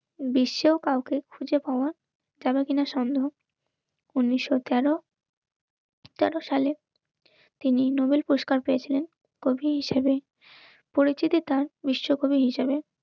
বিশ্বও কাউকে খুঁজে পাওয়া যাবে কিনা সন্দেহ উনিশশো তেরো তেরো সালে তিনি নোবেল পুরস্কার পেয়েছিলেন. কবি হিসেবে. পরিচিতি তার বিশ্বকবি হিসেবে.